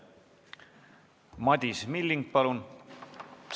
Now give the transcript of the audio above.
Madis Milling, palun!